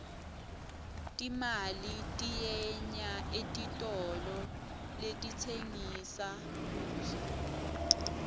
timali tiyenya etitolo letitsengissa kudla